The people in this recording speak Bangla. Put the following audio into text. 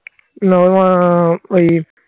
না ওর মা ওই